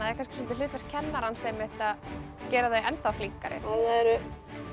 það kannski svolítið hlutverk kennarans að gera þau enn þá flinkari það eru